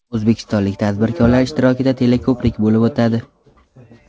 O‘zbekistonlik tadbirkorlar ishtirokida teleko‘prik bo‘lib o‘tadi.